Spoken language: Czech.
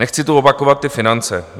Nechci tu opakovat ty finance.